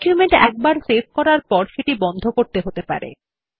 document একবার save করার পর সেটি বন্ধ করতে হতে পারে